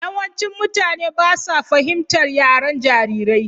Yawancin mutane ba sa fahimtar yaren jarirai.